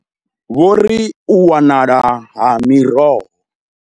Vho ri u wanala ha miroho.